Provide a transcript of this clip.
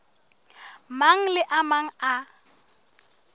mang le a mang a